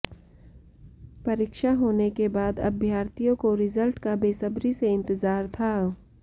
परीक्षा होने के बाद अभ्यर्थियों को रिजल्ट का बेसब्री से इंतजार था